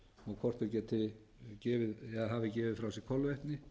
og hvort þau hafi gefið frá sér kolvetni